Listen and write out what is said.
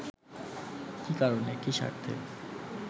কী কারণে কী স্বার্থে